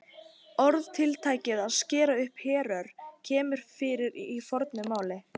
Orðatiltækið að skera upp herör kemur fyrir í fornu máli.